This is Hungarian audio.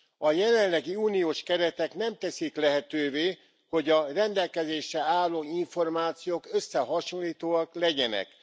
A jelenlegi uniós keretek nem teszik lehetővé, hogy a rendelkezésre álló információk összehasonlítóak legyenek.